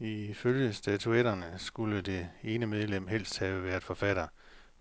Ifølge statutterne skulle det ene medlem helst have været forfatter,